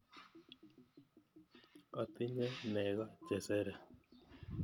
Atinye nego che sere.